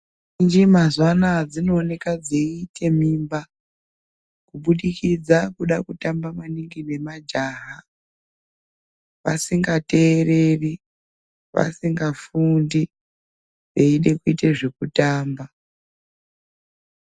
Ndombi mazuva anawa dzinoonekaa dzeita mimba kubudikidza kuda kutamba maningi nemajaha vasingatereri vasingafundi veida kuita zvekutamba.